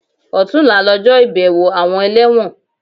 Ọ̀túnla lọjọ́ ìbẹ̀wọ̀ àwọn ẹlẹ́wọ̀n